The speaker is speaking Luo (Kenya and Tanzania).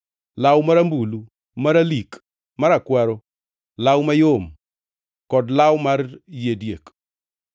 law marambulu, maralik, marakwaro, law mayom, kod law mar yie diek,